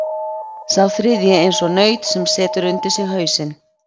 Og sá þriðji eins og naut sem setur undir sig hausinn.